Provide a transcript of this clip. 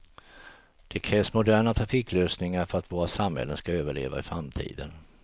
Det krävs moderna trafiklösningar för att våra samhällen skall överleva i framtiden.